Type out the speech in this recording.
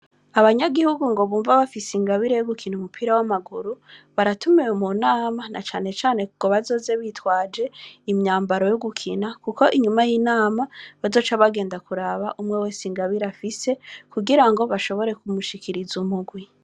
Abanyagihugu ngo bumva bafise ingabire yogukina umupira w'amaguru baratumiwe mu nama ,na cane cane ngo bazoze bitwaje imyambaro yogukina ,Kuko inyuma y'inama bazoca bagenda kuraba umwe wese ingabire afise kugirango bashobore kumushikiriza umugwi.